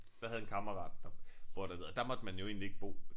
Jeg havde en kammerat der boede dernede og der måtte man jo egentlig ikke bo